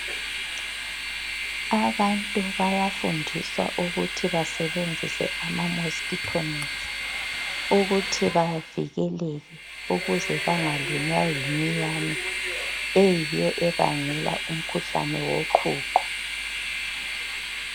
Abantu bayafundiswa ukuthi basebenzise ama mosikitho nethi ukuthi bavikeleke ukuze bangalunywa yiminyane eyiyo ebangela umkhuhlane woqhuqho.